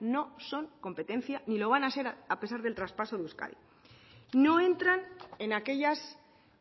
no son competencia ni lo van a ser a pesar del traspaso de euskadi no entran en aquellas